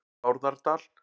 Bárðardal